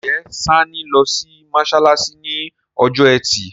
Njé Sanni ló sì masalasi ní Ọjọ́ Ẹti?